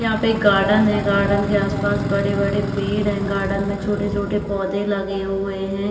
यहाँ पे एक गार्डन है। गार्डन के आस-पास बड़े-बड़े पेड़ हैं। गार्डन में छोटे-छोटे पौधे लगे हुए हैं।